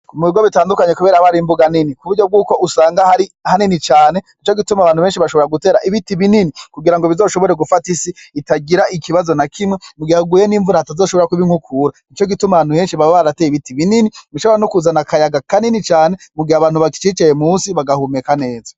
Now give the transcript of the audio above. Mubigo bitandukanye kubera haba hari imbuga nini kuburyo bwuko usanga hari hanini cane nicogituma ahantu henshi bashobora gutera ibiti binini kugirango bizoshobore gufata isi itagira ikibazo nakimwe kugira hagwe nimvura hatazoshobora kuba inkukura nicogituma ahantu henshi baba barateye ibiti binini bishobora nukuzana akayaga kanini cane mugihe abantu bakicicaye munsi bagahumeka neza